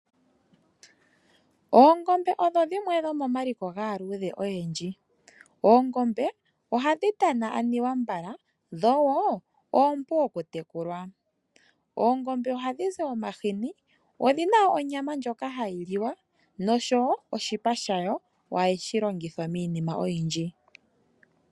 Oongombe odho dhimwe dhomomaliko gaaludhe oyendji. Oongombe ohadhi tana anuwa mbala dho wo oompu okutekulwa. Oongombe ohadhi zi omahini, odhina wo onyama ndjoka hayi liwa noshowo oshipa shayo ohashi longithwa miinima oyindji.